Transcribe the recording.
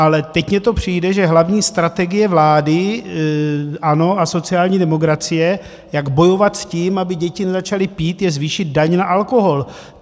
Ale teď mně to přijde, že hlavní strategie vlády ANO a sociální demokracie, jak bojovat s tím, aby děti nezačaly pít, je zvýšit daň na alkohol.